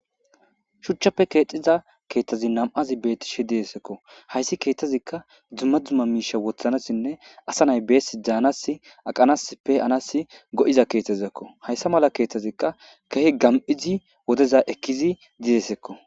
Shuchchappe keeciza keeththazi nam7azi beetishe didesekko hayssi keeththazikka dzumma dzuma miisha wothanasinne asa nay beesi dzaanas aqanasppe anas go7iza keethazizakko hayssa mala keeththazikka kahe gam7izi wodeza ekkizi didesekko